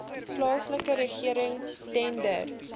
plaaslike regering tender